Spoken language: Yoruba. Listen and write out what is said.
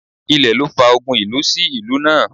Ilẹ̀ ló fa ogun ìlú sí ìlú náà